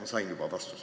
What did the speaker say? Ma sain juba vastuse.